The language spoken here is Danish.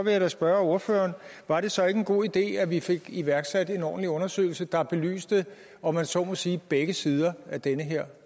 jeg da spørge ordføreren var det så ikke en god idé at vi fik iværksat en ordentlig undersøgelse der belyste om jeg så må sige begge sider af den her